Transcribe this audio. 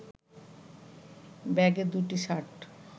ব্যাগে দুটি শার্ট